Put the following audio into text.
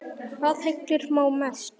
Hvað heillar þá mest?